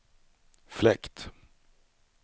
fläkt